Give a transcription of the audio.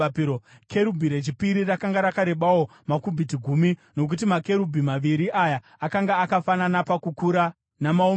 Kerubhi rechipiri rakanga rakarebawo makubhiti gumi, nokuti makerubhi maviri aya akanga akafanana pakukura namaumbirwo.